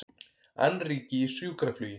Annríki í sjúkraflugi